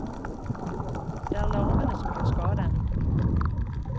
Det er larvene som gjør skade.